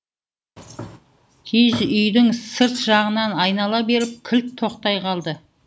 киіз үйдің сырт жағынан айнала беріп кілт тоқтай қалды